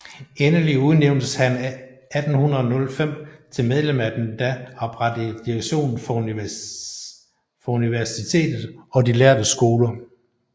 Endelig udnævntes han 1805 til medlem af den da oprettede direktion for universitetet og de lærde skoler